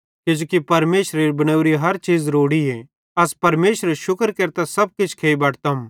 किजोकि परमेशरेरी बनावरी हर चीज़ रोड़ीए अस परमेशरेरू शुक्र केरतां सब किछ खेइ बटतम